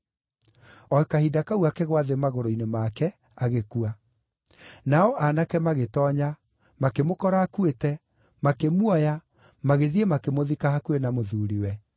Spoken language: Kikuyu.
O kahinda kau akĩgũa thĩ magũrũ-inĩ make, agĩkua. Nao aanake magĩtoonya, makĩmũkora akuĩte, makĩmuoya, magĩthiĩ, makĩmũthika hakuhĩ na mũthuuriwe.